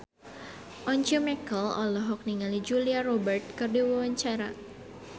Once Mekel olohok ningali Julia Robert keur diwawancara